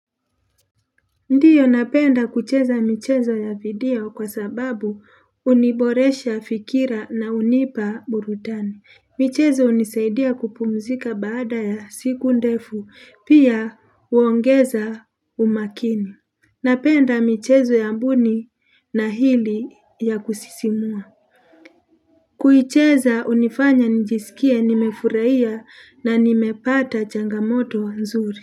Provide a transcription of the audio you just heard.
Ndiyo napenda kucheza michezo ya video kwa sababu uniboresha fikira na unipa burudani. Michezo unisaidia kupumzika baada ya siku ndefu, pia uongeza umakini. Napenda michezo ya mbuni na hili ya kusisimua. Kuicheza unifanya njisikie nimefuraia na nimepata changamoto nzuri.